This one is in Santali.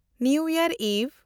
new year eve